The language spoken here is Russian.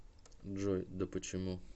джой да почему